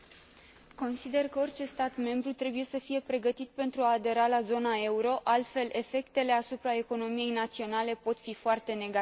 Consider că orice stat membru trebuie să fie pregătit pentru a adera la zona euro, altfel efectele asupra economiei naționale pot fi foarte negative.